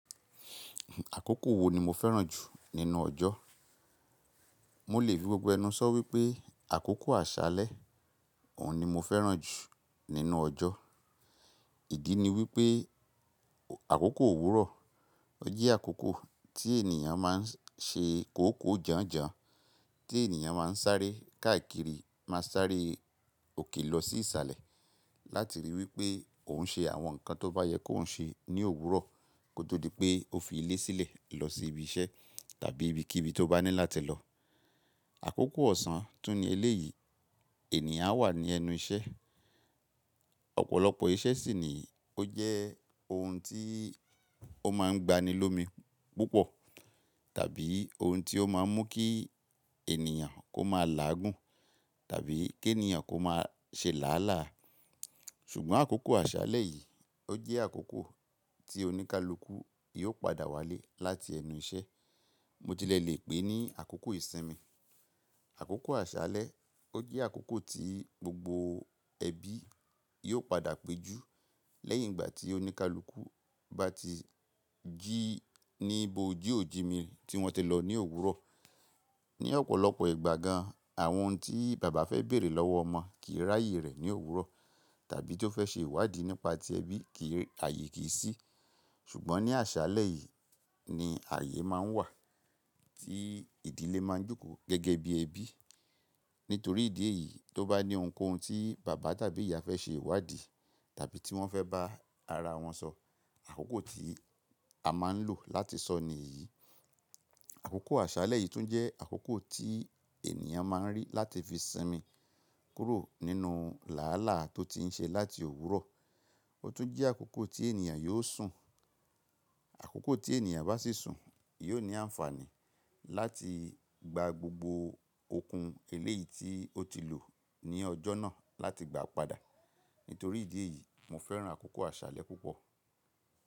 Àkókò wo ni mo fẹ́ràn jù nínú ọjọ́? Mo lè fi gbogbo ẹnu sọ wípé àkókò àsálẹ́, òun ni mo fẹ́ràn jù nínú ọjọ́. Ìdí ni wípé àkókò òwúrọ̀, ó jẹ́ àkókò tí ènìyàn máa ń ṣe kòókòó janjan, tí ènìyàn máa ń sáré káàkiri, máa ń sáré òkè lọ sí ìsàlẹ̀ láti ríi wípé òun ṣe àwọn nǹkan tó bá yẹ kó ń ṣe ní òwúrọ̀ kó tó di pé ó fi ilé sílẹ̀ lọ sí ibi iṣẹ́ tàbí ibi kíbi tó bá ní láti lọ. Àkókò ọ̀sán tún ni eléyìí ènìyàn á wà ní ẹnu iṣẹ́. Ọ̀pọ̀lọpọ̀ iṣẹ́ sì ni ó jẹ́ ohun tí ó máa ń gba ni lomi púpọ̀ tàbí ohun tí ó máa ń mú kí ènìyàn kó máa làágùn tàbí kí ènìyàn kó máa ṣe làálàá. Ṣùgbọ́n àkókò àsálẹ́ yìí ó jẹ́ àkókò tí oníkálukú yóò padà wálé láti ẹnu iṣẹ́, mo tilẹ̀ lè pè é ní àkókò ìsinmi. Àkókò àsálẹ́ ó jẹ́ àkókò tí gbogbo ẹbí yóò padà péjú lẹ́yìn ìgbà tí oníkálukú bá ti jí níbo ojí òjìji mìíràn tí wọ́n ti lọ ní òwúrọ̀. Ni ọ̀pọ̀lọpọ̀ ìgbà gan, àwọn ohun tí bàbá fẹ́ bèrè lọ́wọ́ ọmọ kì í ráàyè rẹ̀ ní òwúrọ̀ tàbí tó fẹ́ ṣe ìwádìí nípa ti ẹbí kì í ààyè kì í sí. Ṣùgbọ́n ní àsálẹ́ yìí ni ààyè máa ń wà tí ìdílé máa ń jókòó gẹ́gẹ́ bí ẹbí. Nítorí ìdí èyí, tó bá ní ohunkóhun tí bàbá tàbí ìyá fẹ́ ṣe ìwádìí tàbí tí wọ́n fẹ́ bá ara wọn sọ, àkókò tí a máa ń lò láti sọ ni yìí. Àkókò àsálẹ́ yìí tún jẹ́ àkókò tí ènìyàn máa ń rí láti fi sinmi kúrò nínú làálàá tó ti ń ṣe láti òwúrọ̀. Ó tún jẹ́ àkókò tí ènìyàn yóò sùn. Àkókò tí ènìyàn bá sì sùn, yóò ní àǹfààní láti gba gbogbo okun eléyìí tí ó ti lò ní ọjọ́ náà láti gbà padà. Nítorí ìdí èyí, mo fẹ́ràn àkókò àsálẹ́ púpọ̀